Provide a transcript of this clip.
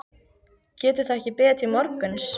Getur það ekki beðið til morguns?